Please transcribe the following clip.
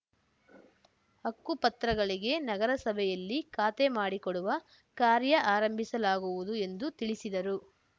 ಹಕ್ಕುಪತ್ರಗಳಿಗೆ ನಗರಸಭೆಯಲ್ಲಿ ಖಾತೆ ಮಾಡಿಕೊಡುವ ಕಾರ್ಯ ಆರಂಭಿಸಲಾಗುವುದು ಎಂದು ತಿಳಿಸಿದರು